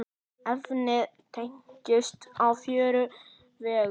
Efnið teygist á fjóra vegu.